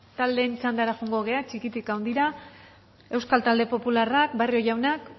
taldeen txandara joango gara txikitik handira euskal talde popularrak barrio jaunak